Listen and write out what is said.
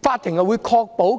作出了規定。